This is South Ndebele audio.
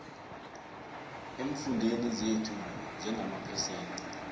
eemfundeni zethu njengamaphesente